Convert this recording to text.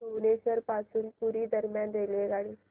भुवनेश्वर पासून पुरी दरम्यान रेल्वेगाडी